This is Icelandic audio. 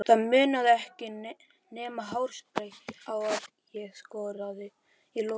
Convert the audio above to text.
Það munaði ekki nema hársbreidd að ég skoraði í lokin.